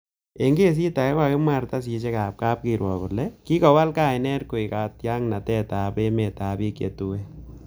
En kesit age, kokimwa kartasisiekab kapkirwok kole kikowal kainet koik katyaknatet ab emetab bik che tuen.